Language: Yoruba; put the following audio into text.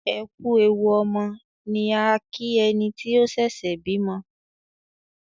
"ẹkú ẹwù ọmọ" ni a kí ẹni tí ó ṣẹ̀ṣẹ̀ bímọ